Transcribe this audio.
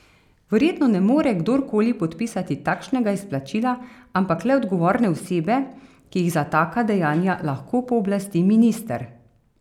Verjetno ne more kdor koli podpisati takšnega izplačila, ampak le odgovorne osebe, ki jih za taka dejanja lahko pooblasti minister.